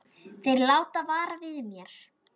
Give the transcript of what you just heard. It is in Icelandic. Þeir láta vara við mér.